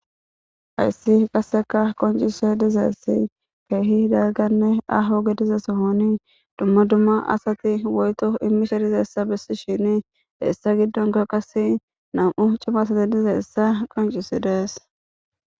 Hayssi qasseka qoncise dizaessi keehi dagganne aho gedizesohoni dumma dumma asati woyto immise dizeessa bessi shini heessa giddonka qas nam'u cimasati dizeessa qoncisi deess.